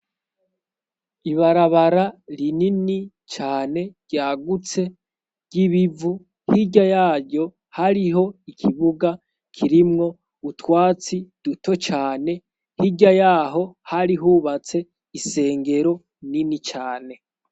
Ibarabara rinini cane ryagutse ry'ibivu hirya yaryo hariho ikibuga kirimwo utwatsi duto cane hirya yaho hari hubatse isengero inini cane.